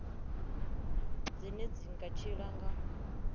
dzine dzi nga tshila nga